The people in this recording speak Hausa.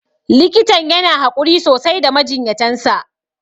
Likitan yana haƙuri sosai da majinyatan sa.